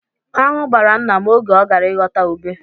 Aṅụ gbara nna m oge ọ gara ịghọta ube.